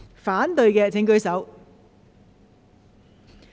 反對的請舉手。